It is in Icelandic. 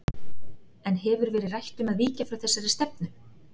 En hefur verið rætt um að víkja frá þessari stefnu?